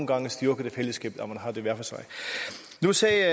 gange styrker det fællesskabet at man har det hver for sig nu sagde